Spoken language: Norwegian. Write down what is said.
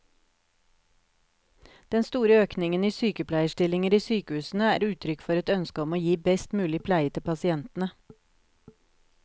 Den store økningen i sykepleierstillinger i sykehusene er uttrykk for et ønske om å gi best mulig pleie til pasientene.